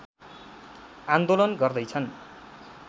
आन्दोलन गर्दै छन्